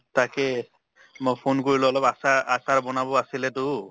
তাকে মই phone কৰিলোঁ অলপ আচাৰ আচাৰ বনাব আছিলে তো।